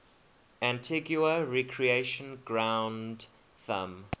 antigua recreation ground thumb